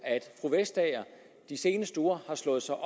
at fru vestager de seneste uger har slået sig